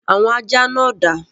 Àwọn ajá náà dà?